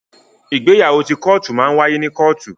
Ìgbéyàwó ti kọ́tù máa n waye nínú kọ́tù.